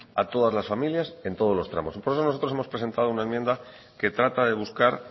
a todas las familias en todos los tramos y por eso nosotros hemos presentado una enmienda que trata de buscar